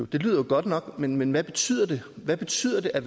det lyder jo godt nok men men hvad betyder det hvad betyder det at